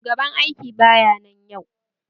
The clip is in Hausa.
Shugaban aiki baya nan yau